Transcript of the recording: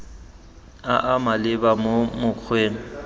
a a maleba mo mokgweng